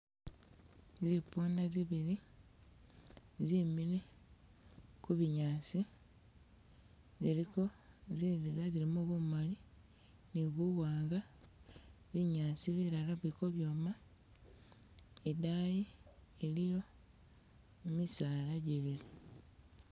Zipunda zibili zemile ku bunyaasi ziliko zinziga ziliko bumali ni buwanga binyaasi bilala bili kobyoma, idaayi iliyo misaala jibili.